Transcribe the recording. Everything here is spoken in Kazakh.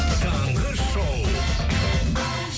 таңғы шоу